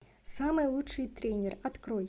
самый лучший тренер открой